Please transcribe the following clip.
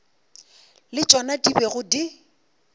le tšona di bego di